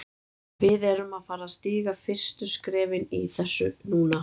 Við erum að fara að stíga fyrstu skrefin í þessu núna.